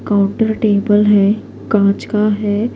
.کونتے کا ٹیمپل ہیں کاچ کا ہیں